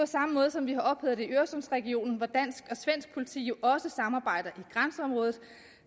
samme måde som vi har ophævet det i øresundsregionen hvor dansk og svensk politi jo også samarbejder i grænseområdet og